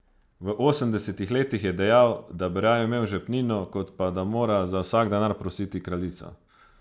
V osemdesetih letih je dejal, da bi raje imel žepnino, kot pa da mora za vsak denar prositi kraljico.